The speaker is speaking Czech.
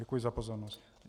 Děkuji za pozornost.